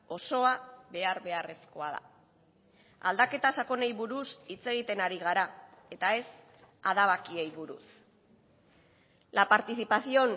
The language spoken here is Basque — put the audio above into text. osoa behar beharrezkoa da aldaketa sakonei buruz hitz egiten ari gara eta ez adabakiei buruz la participación